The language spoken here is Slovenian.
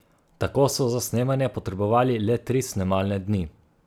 Tako so za snemanje potrebovali le tri snemalne dni.